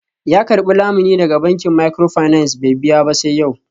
Ya karbi lamuni daga bankin microfinance bai biya ba sai yau.